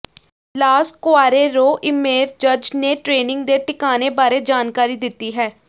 Las ਕੁਆਰੇਰੋ ਇਮੇਰਜ਼ਜ਼ ਨੇ ਟ੍ਰੇਨਿੰਗ ਦੇ ਟਿਕਾਣੇ ਬਾਰੇ ਜਾਣਕਾਰੀ ਦਿੱਤੀ ਹੈ